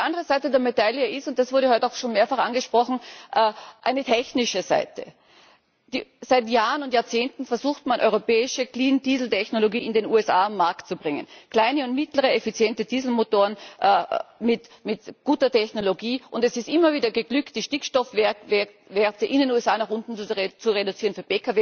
Die andere Seite der Medaille ist und das wurde heute auch schon mehrfach angesprochen eine technische Seite. Seit Jahren und Jahrzehnten versucht man, europäische Clean Diesel Technologie in den USA auf den Markt zu bringen, kleine und mittlere effiziente Dieselmotoren mit guter Technologie. Es ist immer wieder geglückt, die Stickstoffwerte für Pkw in den USA nach unten zu reduzieren,